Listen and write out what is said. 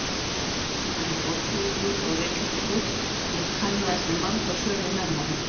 Þau voru víða og var það gert til að dreifa áburðinum.